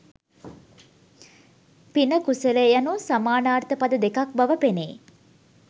පින, කුසලය යනු සමානාර්ථ පද දෙකෙක් බව පෙනේ.